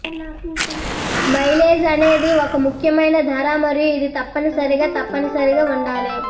mileage అనేది ఒక ముఖ్యమైన ధర మరియు ఇది తప్పనిసరిగా తప్పనిసరిగా ఉండాలి